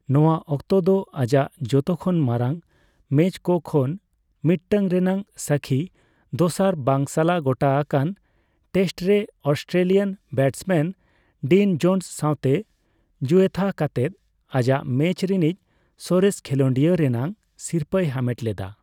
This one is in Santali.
ᱱᱚᱣᱟ ᱚᱠᱛᱚ ᱫᱚ ᱟᱡᱟᱜ ᱡᱚᱛᱚ ᱠᱷᱚᱱ ᱢᱟᱨᱟᱝ ᱢᱮᱪᱽᱠᱚ ᱠᱷᱚᱱ ᱢᱤᱫᱴᱟᱝ ᱨᱮᱱᱟᱜ ᱥᱟᱹᱠᱷᱤ, ᱫᱚᱥᱟᱨ ᱵᱟᱝ ᱥᱟᱞᱟ ᱜᱚᱴᱟ ᱟᱠᱟᱱ ᱴᱮᱥᱴᱨᱮ ᱚᱥᱴᱨᱮᱞᱤᱭᱟᱹᱱ ᱵᱮᱴᱥᱢᱮᱱ ᱰᱤᱱ ᱡᱚᱱᱥ ᱥᱟᱣᱛᱮ ᱡᱩᱭᱛᱷᱟ ᱠᱟᱛᱮᱫ ᱟᱡᱟᱜ ᱢᱮᱪᱽ ᱨᱤᱱᱤᱡ ᱥᱚᱨᱮᱥ ᱠᱷᱮᱞᱳᱰᱤᱭᱟ ᱨᱮᱱᱟᱜ ᱥᱤᱨᱯᱟᱹᱭ ᱦᱟᱢᱮᱴ ᱞᱮᱫᱟ ᱾